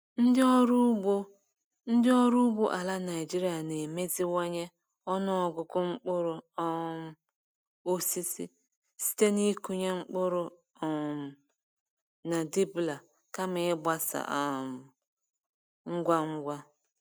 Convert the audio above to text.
Ndị ọrụ ugbo Ndị ọrụ ugbo ala Naijiria na-emeziwanye ọnụ ọgụgụ mkpụrụ um osisi site n'ịkụnye mkpụrụ um na dibbler kama ịgbasa um ngwa ngwa.